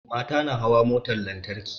Mata na hawa motar lantarki